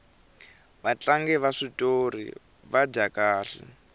vatlangi va switori va dya kahle